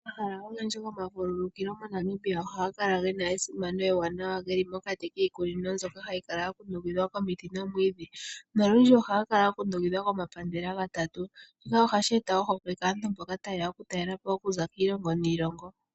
Omahala ogendji gomavululukilo moNamibia oha ga kala gena esimano ewanawa. Geli mokati kiikunino mbyoka hayi kala ya kundukidhwa komiti nomwiidhi. Nolundji oha ga kala ga kundukidhwa komapandela gatatu. Shika ohashi eta ohokwe kaantu mboka ta yeya okutalela po okuza kiilongo niilongo.